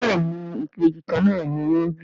béèni Ìbejì kànnà ní wón.